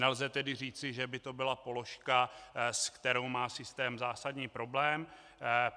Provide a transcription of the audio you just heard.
Nelze tedy říci, že by to byla položka, se kterou má systém zásadní problém.